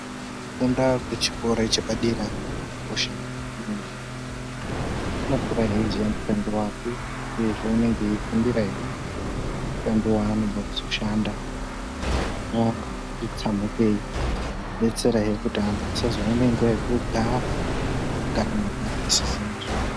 Kufunda kwechikora chepadera kwakosha ngekuti munhu unokura eiziya mushando wake uyezve unenge eifundirahe mushando waanenga eide kuzoshanda vaanetsa mupei detserahe kuti vantu asazoone nghwa yekugara kugara mumapato asisine zvekuita.